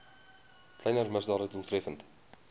kleiner misdade doeltreffend